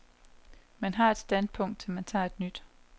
Man har et standpunkt, til man tager et nyt.